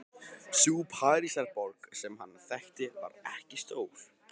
Sú Parísarborg sem hann þekkti var ekki stór.